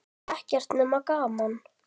Ekkert nema gaman!